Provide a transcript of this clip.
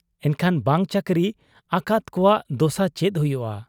ᱮᱱᱠᱷᱟᱱ ᱵᱟᱝ ᱪᱟᱹᱠᱨᱤ ᱟᱠᱟᱫ ᱠᱚᱣᱟᱜ ᱫᱚᱥᱟ ᱪᱮᱫ ᱦᱩᱭᱩᱜ ᱟ ?